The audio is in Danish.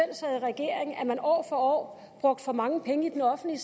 sad i regering at man år for år brugte for mange penge i den offentlige